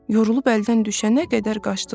Yorulub əldən düşənə qədər qaçdılar.